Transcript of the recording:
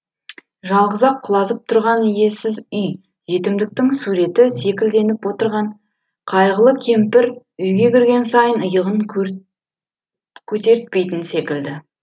жалғыз ақ құлазып тұрған иесіз үй жетімдіктің суреті секілденіп отырған қайғылы кемпір үйге кірген сайын иығын көтертпейтін секілді